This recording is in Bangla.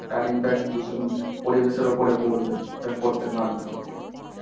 তার impact দূষণ পরিবেশের উপর পরবে. এটা পড়তে বাধ্য.